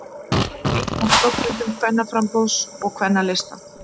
Einn af stofnendum Kvennaframboðs og Kvennalista